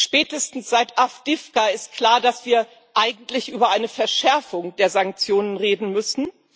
Spätestens seit Awdijiwka ist klar, dass wir eigentlich über eine Verschärfung der Sanktionen reden müssen.